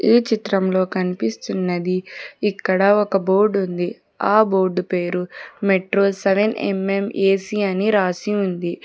ఈ చిత్రంలో కనిపిస్తున్నది ఇక్కడ ఒక బోర్డు ఉంది ఆ బోర్డు పేరు metro seven M M AC అని రాసి ఉంది.